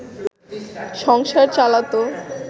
সংসার চালাতো